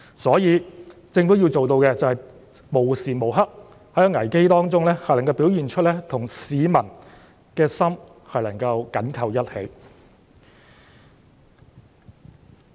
所以，政府要做到的便是在危機中，能夠無時無刻表現出與市民的心緊扣在一起。